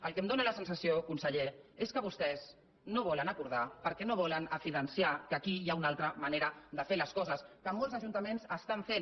el que em dóna la sensació conseller és que vostès no ho volen acordar perquè no volen evidenciar que aquí hi ha una altra manera de fer les coses que molts ajuntaments ho estan fent